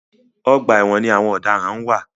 Ọgbà ẹwọn ni àwọn ọ̀daràn ń wà.